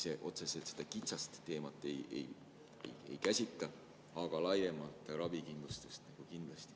See otseselt seda kitsast teemat ei käsitle, aga laiemalt ravikindlustust kindlasti.